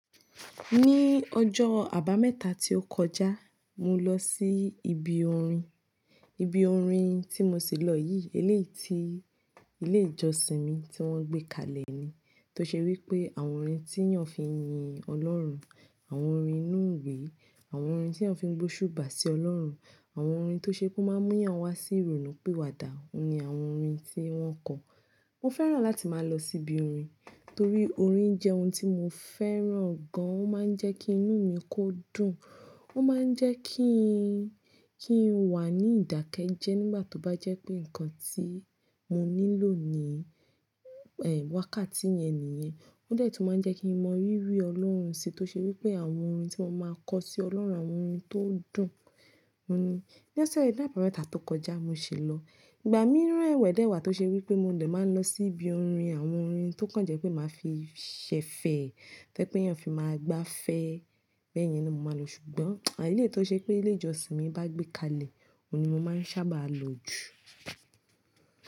Ní ọjọ́ àbámẹ́ta tí ó kọjá, mo lọ sí ibi orin. Ibi orin tí mo si lọ yìí, eléyìí ti Ilé-ìjọsìn mi tí wọ́n gbé kalẹ̀ ni. Tó ṣe wí pé àwọn orin tí èèyàn fi ń yin Ọlọ́run, àwọn orin inú ìwé, àwọn orin tí èèyàn fi ń gbé oṣúbà sí Ọlọ́run, àwọn orin tó ṣe pe o máa mú èèyàn wá sí ìrònú pìwà dà, òun ni àwọn orin tí wọ́n kọ. Mo fẹ́ràn láti máa lọ sí ibi orin torí orin jẹ́ ohun tí mo fẹ́ràn gan-an. Ó máa ń jẹ́ kí inú mi kó dùn, ó máa ń jẹ́ kí n, kí n wà ní ìdákẹ́jẹ́ nígbà tó bá jẹ́ pé nǹkan tí mo nílò ní, ẹ, wákàtí yẹn nìyẹn. Ó dẹ́ tun máa ń jẹ́ kí mo rí rí Ọlọ́run sí i. Tó ṣe wí pé àwọn orin tí mo máa kọ sí Ọlọ́run, àwọn orin tó dùn. Ó ni ní ọ̀sẹ̀ náà, àbámẹ́ta tó kọjá mo ṣe lọ. Ìgbà mìíràn ẹ̀wẹ̀ dẹ́wàá tó ṣe wí pé mo dẹ̀ máa lọ sí ibi orin. Àwọn orin tó kàn jẹ́ pé màá fi ṣẹ̀fẹ̀, tẹ́ pé èèyàn fi máa gbáfẹ́, bẹ́ẹ̀ yẹn ló mo máa lò. Ṣùgbọ́n eléyìí tó ṣe pé Ilé-ìjọsìn mi bá gbé kalẹ̀, òun ni mo máa ń sábà lọ jù.